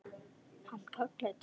Hann kallaði til mín.